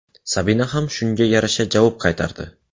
Sabina ham shunga yarasha javob qaytardi.